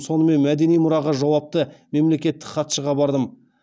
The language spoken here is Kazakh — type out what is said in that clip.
сонымен мәдени мұраға жауапты мемлекеттік хатшыға бардым